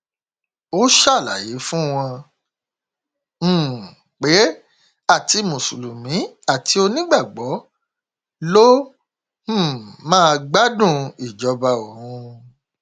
ó ṣàlàyé fún wọn um pé àti mùsùlùmí àti onígbàgbọ ló um má gbádùn ìjọba òun